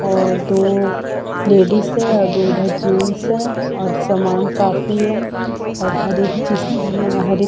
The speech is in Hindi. और दो लेडीज़ हैं और दो जेंट्स हैं और सामान काफी है और हर चीज हर एक--